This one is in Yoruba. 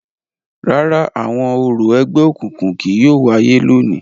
Rárá, awọn orȯ ẹgbẹokunkun kii yóò waye lóni.